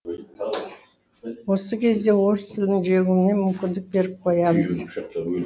осы кезде орыс тілінің жеңуіне мүмкіндік беріп қоямыз